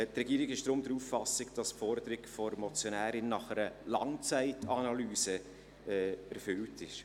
Die Regierung ist deshalb der Auffassung, dass die Forderung der Motionärin nach einer Langzeitanalyse erfüllt ist.